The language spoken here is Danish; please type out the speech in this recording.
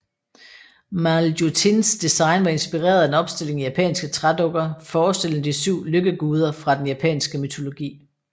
Maljutins design var inspireret af en opstilling af japanske trædukker forestillende de syv lykkeguder fra den japanske mytologi